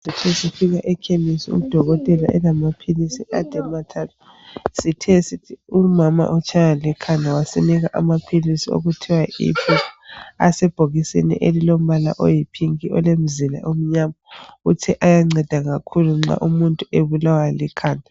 Sithe sifika ekhemisi udokotela elamaphilisi ade mathathe sithe umama utshaywa likhanda wasinika amaphilisi wokuthiwa yi ibupar asebhokisini elilombala oyipink elilomzila omnyama uthe ayanceda kakhulu nxa umuntu ebulawa likhanda.